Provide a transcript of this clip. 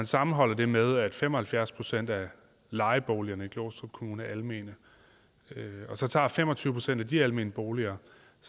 sammenholder det med at fem og halvfjerds procent af lejeboligerne i glostrup kommune er almene og så tager fem og tyve procent af de almene boliger